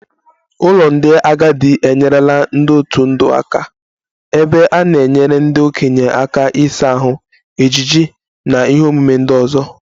Ụlọ ndị agadi enyerela ndị otu ndụ aka ebe a na-enyere ndị okenye aka ịsa ahụ, ejiji na ihe omume ndị ọzọ